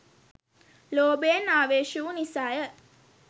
ලෝභයෙන් ආවේශ වූ නිසාය.